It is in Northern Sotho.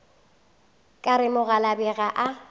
ka re mokgalabje ga a